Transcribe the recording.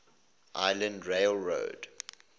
island rail road